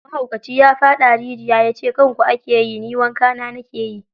Mahaukaci ya faɗa rijiya ya ce kanku ake ji, ni wanka na na ke yi.